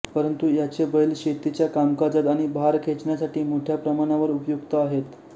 परंतु याचे बैल शेतीच्या कामकाजात आणि भार खेचण्यासाठी मोठ्या प्रमाणावर उपयुक्त आहेत